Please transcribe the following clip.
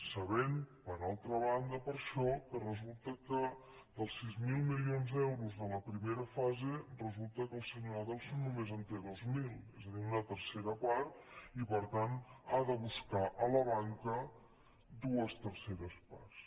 sabent per altra banda per això que resulta que dels sis mil milions d’euros de la primera fase resulta que el senyor adelson només en té dos mil és a dir una tercera part i per tant ha de buscar a la banca dues terceres parts